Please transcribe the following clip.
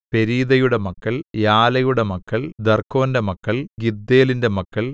പെരീദയുടെ മക്കൾ യാലയുടെ മക്കൾ ദർക്കോന്റെ മക്കൾ ഗിദ്ദേലിന്റെ മക്കൾ